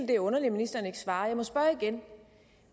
det er underligt at ministeren ikke svarer